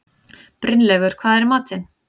Brynleifur, hvað er í matinn?